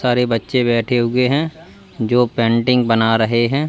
सारे बच्चे बैठे हुए हैं जो पेंटिंग बना रहे हैं।